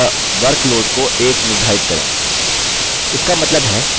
इसका मतलब है कि हमें प्रत्येक स्तर पर level एक line पूरी करने की आवश्यकता है